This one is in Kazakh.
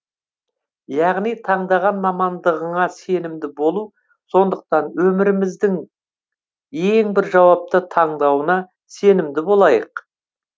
яғни таңдаған мамандығыңа сенімді болу сондықтан өміріміздің ең бір жауапты таңдауына сенімді болайық